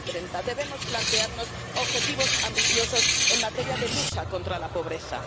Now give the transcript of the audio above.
2030. Debemos plantearnos objetivos ambiciosos en materia de lucha contra la pobreza.